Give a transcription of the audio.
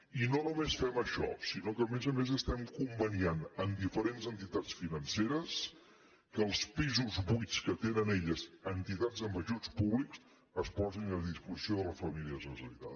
i no només fem això sinó que a més a més estem conveniant amb diferents entitats financeres que els pisos buits que tenen elles a entitats amb ajuts públics es posin a disposició de les famílies necessitades